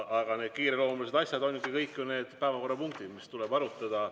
Aga need kiireloomulised asjad ongi ju kõik need päevakorrapunktid, mida tuleb arutada.